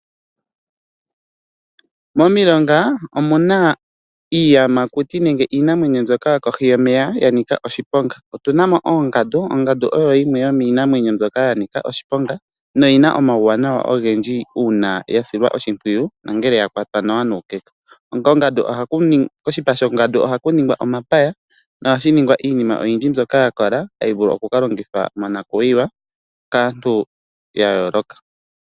Momilonga omuna iinamwenyo mbyoka yokohi yomeya ya nika oshiponga. Otuna mo oongandu ndjono nayo ya nika oshiponga. Oyina omauwanawa ogendji uuna ya silwa oshimpwiyu. Oshipa shongandu ohashi ningwa omapaya niinima oyindji mbyoka hayi vulu oku kalongithwa monakuyiwa kaantu ya yooloka